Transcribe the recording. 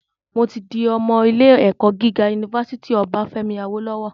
Mo tí di ọmọ ilé - ẹ̀kọ́ gíga unifásítì Obáfẹ́mi Awólọ́wọ̀